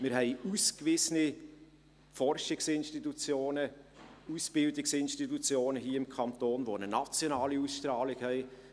Wir haben ausgewiesene Forschungsinstitutionen, Ausbildungsinstitutionen hier im Kanton, welche eine nationale Ausstrahlung haben.